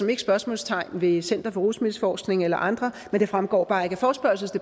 ikke spørgsmål ved center for rusmiddelforskning eller andre men det fremgår bare ikke